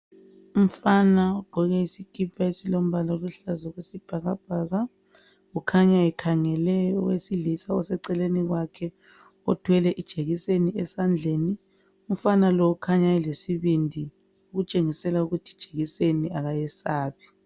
Umfana ogqoke isikipa esilombala oluhlaza okwesibhakabhaka kukhanya ekhangele owesilisa oseceleni kwakhe othwele ijekiseni esandleni umfana lo kukhanya elesibindi okutshengisela ukuthi ijekiseni akayesabi.